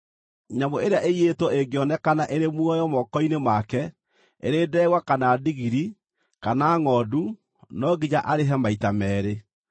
“Nyamũ ĩrĩa ĩiyĩtwo ĩngĩonekana ĩrĩ muoyo moko-inĩ make, ĩrĩ ndegwa kana ndigiri kana ngʼondu no nginya arĩhe maita meerĩ.